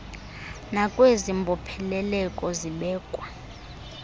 nakwezi mbopheleleko zibekwa